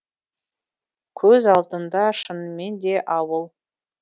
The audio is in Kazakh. көз алдында шынымен де ауыл